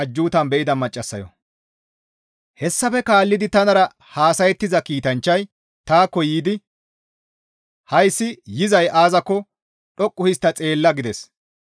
Hessafe kaallidi tanara haasayettiza kiitanchchay taakko yiidi, «Hayssi yizay aazakko dhoqqu histta xeella» gides.